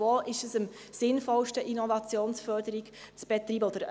Wo ist es am sinnvollsten, Innovationsförderung zu betreiben?